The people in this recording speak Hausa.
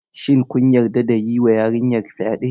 Shin kun yarda ya yiwa yarinyar fyaɗe?